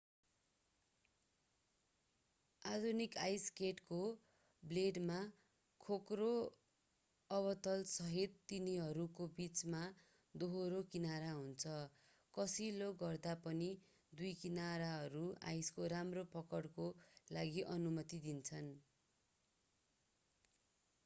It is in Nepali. आधुनिक आइस स्केटको ब्लेडमा खोक्रो अवतलसहित तिनीहरूको बीचमा दोहोरो किनारा हुन्छ कसिलो गर्दा पनि दुई किनारहरूले आइसको राम्रो पकडको लागि अनुमति दिन्छ